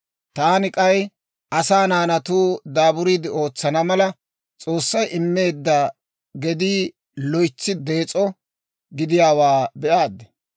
Taani k'ay, asaa naanatuu daaburiide ootsana mala, S'oossay immeedda gedii loytsi dees'o gidiyaawaa be'aad.